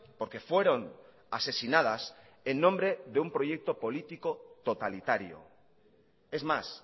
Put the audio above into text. porque fueron asesinadas en nombre de un proyecto político totalitario es más